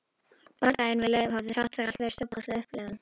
Bardaginn við Leif hafði þrátt fyrir allt verið stórkostleg upplifun.